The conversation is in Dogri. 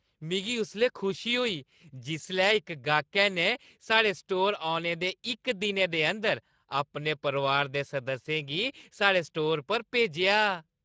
मिगी उसलै खुशी होई जिसलै इक गाह्कै ने साढ़े स्टोर औने दे इक दिनै दे अंदर अपने परोआरै दे सदस्यें गी साढ़े स्टोर पर भेजेआ।